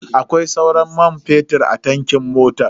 Akwai sauran man fetur a tankin motan?